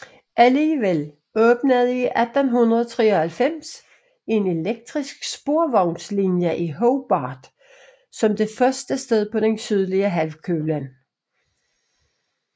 Alligevel åbnede i 1893 en elektrisk sporvognslinje i Hobart som det første sted på den sydlige halvkugle